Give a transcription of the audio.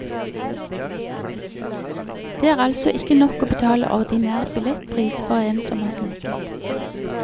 Det er altså ikke nok å betale ordinær billettpris for en som har sneket.